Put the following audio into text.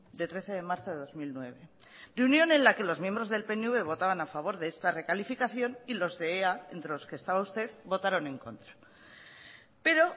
de trece de marzo de dos mil nueve reunión en la que los miembros del pnv votaban a favor de esta recalificación y los de ea entre los que estaba usted votaron en contra pero